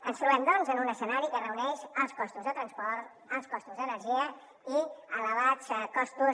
ens trobem doncs en un escenari que reuneix alts costos de transport alta costos d’energia i elevats costos